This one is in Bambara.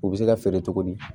U bɛ se ka feere cogo di